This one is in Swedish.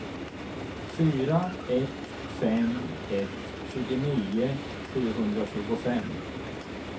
fyra ett fem ett tjugonio sjuhundratjugofem